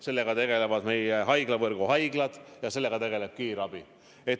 Sellega tegelevad meie haiglavõrgu haiglad ja sellega tegeleb kiirabi.